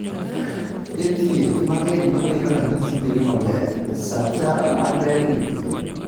E thiedh mang'eny momiyo ranyisi bedo maber ,sacha mag ber nipiny